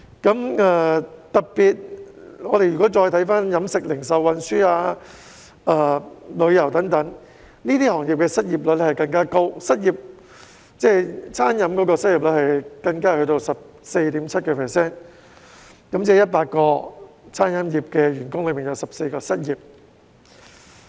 我們特別看看飲食、零售、運輸、旅遊等行業，這些行業的失業率更加高，餐飲業的失業率高達 14.7%， 即每100個餐飲業員工便有14人失業。